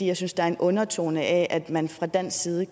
jeg synes der er en undertone af at man fra dansk side